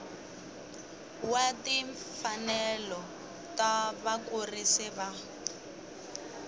wa timfanelo ta vakurisi va